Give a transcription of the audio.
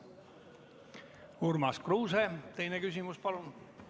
Urmas Kruuse, teine küsimus, palun!